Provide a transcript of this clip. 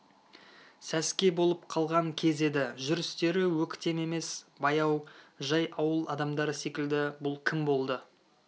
сәске болып қалған кез еді жүрістері өктем емес баяу жай ауыл адамдары секілді бұл кім болды